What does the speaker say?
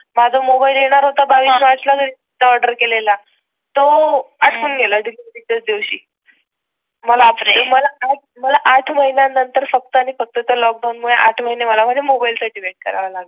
माझा मोबाईल येणार होता बावीस मार्च घरी ऑर्डर केलेला तो अटकून गेला डिलिव्हरी च्या दिवशी मला मला मला आठ महिन्या नंतर फक्त आणि फक्त च्या लॉकडाऊन मुळे आठ महिने मला माझ्या मोबाईल साठी वेट करावा लागला.